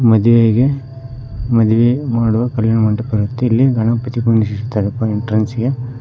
ಮದುವೆಗೆ ಮದುವೆ ಮಾಡುವ ಕಲ್ಯಾಣ ಮಂಟಪ ಇರುತ್ತೆ ಇಲ್ಲಿ ಗಣಪತಿ ಕುಳ್ಳಿಸಿದ್ದಾರೆ ಡ್ರಿಂಕ್ಸ್ ಗೆ--